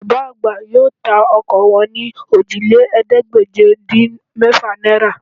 Bàbá àgbà yóò ta ọkọ wọn ní Òjìlélẹ́ẹ̀ẹ́dégbèje-dín-mẹ́fà náírà